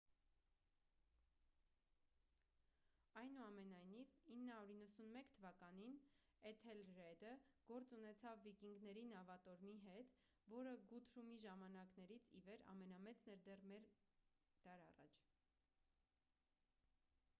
այնուամենայնիվ 991 թ էթելրեդը գործ ունեցավ վիկինգների նավատորմի հետ որը գութրումի ժամանակներից ի վեր ամենամեծն էր դեռ մեկ դար առաջ